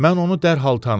Mən onu dərhal tanıdım.